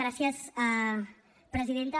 gràcies presidenta